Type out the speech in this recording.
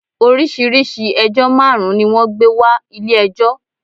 Orísíirìsíi ẹjọ́ máàrun ni wọ́n gbé wa Ilé ẹjọ́